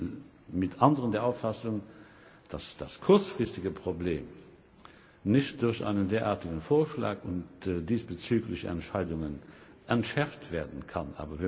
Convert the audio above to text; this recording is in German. Ich bin mit anderen der Auffassung, dass das kurzfristige Problem nicht durch einen derartigen Vorschlag und diesbezügliche Entscheidungen entschärft werden kann.